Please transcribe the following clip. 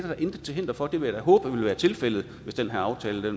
da intet til hinder for det vil jeg da håbe ville være tilfældet hvis den her aftale